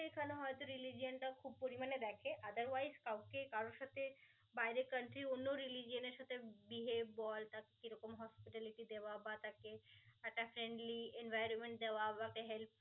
এখানে হয়তো religion টা খুব পরিমাণে দেখে otherwise কাউকে কারোর সাথে বাইরে countery অন্য religion এর সাথে behave বল তার কি রকম hospitality দেওয়া বা তাকে একটা friendly environment দেওয়া বা তাকে help